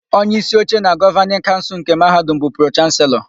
Onyeísí oche na Gọvanịn Kaụnsụlnke Mahadum bụ Pro-Chanselọ.